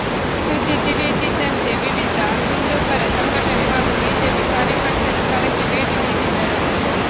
ಸುದ್ದಿ ತಿಳಿಯುತ್ತಿದ್ದಂತೆ ವಿವಿಧ ಹಿಂದೂಪರ ಸಂಘಟನೆ ಹಾಗೂ ಬಿಜೆಪಿ ಕಾರ್ಯಕರ್ತರು ಸ್ಥಳಕ್ಕೆ ಭೇಟಿ ನೀಡಿದರು